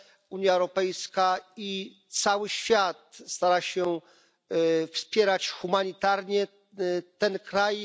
Unia Europejska i cały świat starają się wspierać humanitarnie ten kraj.